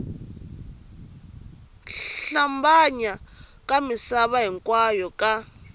hlambanya ka misava hinkwayo ka